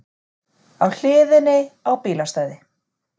Á hliðinni á bílastæði